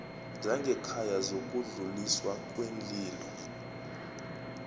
zangekhaya zokudluliswa kweenlilo